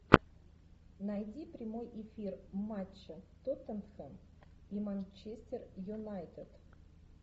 найди прямой эфир матча тоттенхэм и манчестер юнайтед